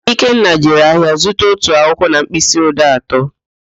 Ikenna jere ahịa zụta otu akwụkwọ na mkpịsị odee atọ